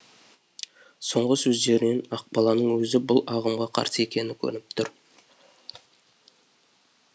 соңғы сөздерінен ақбаланың өзі бұл ағымға қарсы екені көрініп қалды